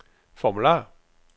formular